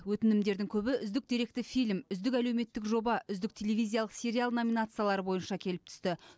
өтінімдердің көбі үздік деректі фильм үздік әлеуметтік жоба үздік телевизиялық сериал номинациялары бойынша келіп түсті